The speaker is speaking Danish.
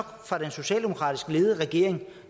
fra den socialdemokratisk ledede regering